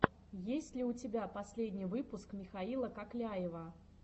есть ли у тебя последний выпуск михаила кокляева